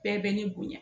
Bɛɛ bɛ ne bonya